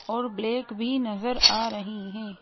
और ब्लैक भी नजर आ रही हैं।